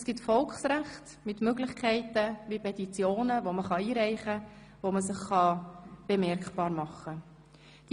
Es gibt Volksrechte mit Möglichkeiten wie Petitionen, die eingereicht werden können, mit welchen man sich bemerkbar machen kann.